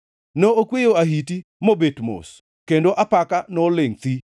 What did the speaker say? ne okweyo ahiti mobet mos; kendo apaka nolingʼ thi.